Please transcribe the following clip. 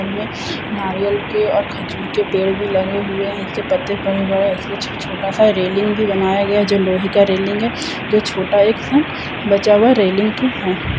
बगल में नारियल की और खजूर के पेड़ भी लगे हुए हैं उनके पत्ते बड़े-बड़े ऐसे छोटा-सा रेलिंग भी बनाया गया जो लोहे का रेलिंग है जो छोटा एक सा बचा हुआ रेलिंग का है।